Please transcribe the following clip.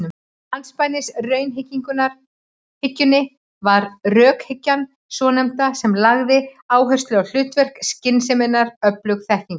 Andspænis raunhyggjunni var rökhyggjan svonefnda sem lagði áherslu á hlutverk skynseminnar í öflun þekkingar.